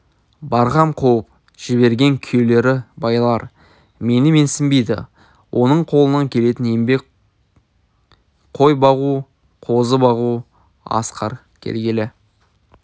барғам қуып жіберген күйеулері байлар мені менсінбейді оның қолынан келетін еңбек қой бағу қозы бағу асқар келгелі